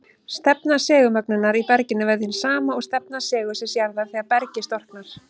Stefna segulmögnunar í berginu verður hin sama og stefna segulsviðs jarðar þegar bergið storknar.